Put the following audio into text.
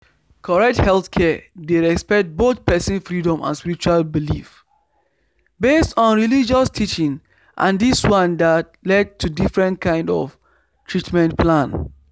correct healthcare dey respect both person freedom and spiritual belief based on religious teaching and this one dey lead to different kind of treatment plan